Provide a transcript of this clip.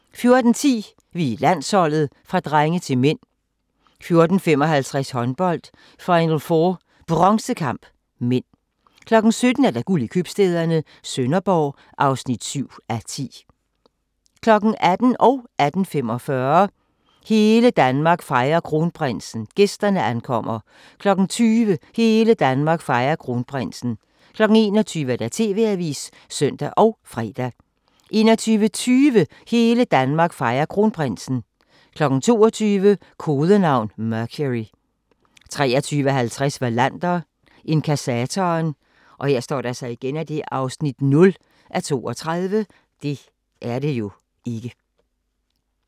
14:10: Vi er landsholdet – fra drenge til mænd 14:55: Håndbold: Final4 Bronzekamp (m) 17:00: Guld i købstæderne - Sønderborg (7:10) 18:00: Hele Danmark fejrer kronprinsen – gæsterne ankommer 18:45: Hele Danmark fejrer kronprinsen – gæsterne ankommer 20:00: Hele Danmark fejrer kronprinsen 21:00: TV-avisen (søn og fre) 21:20: Hele Danmark fejrer Kronprinsen 22:00: Kodenavn: Mercury 23:50: Wallander: Inkassatoren (0:32)